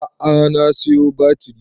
A'a na siyo batiri